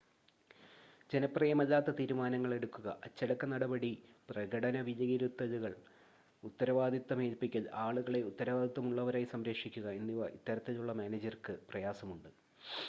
ജനപ്രിയമല്ലാത്ത തീരുമാനങ്ങൾ എടുക്കുക അച്ചടക്ക നടപടി പ്രകടന വിലയിരുത്തലുകൾ ഉത്തരവാദിത്തം ഏൽപ്പിക്കൽ ആളുകളെ ഉത്തരവാദിത്തമുള്ളവരായി സംരക്ഷിക്കുക എന്നിവ ഇത്തരത്തിലുള്ള മാനേജർക്ക് പ്രയാസമുണ്ട്